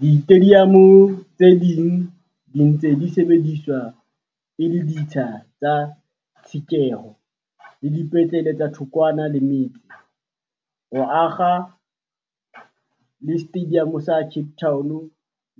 Ditediamo tse ding di se ntse di sebediswa e le ditsha tsa tshekeho le dipetlele tse thokwana le metse, ho akga le Setediamo sa Cape Town